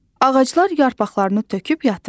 Ağaclar yarpaqlarını töküb yatır.